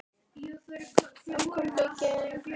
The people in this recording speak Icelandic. Um konunga gegnir öðru máli.